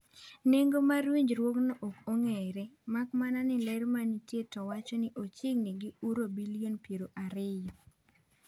Nengo mar winjruokno ok ong'ere, mak mana ni ler ma nitie to wacho ni ochiegini gi uro bilion piero ariyo.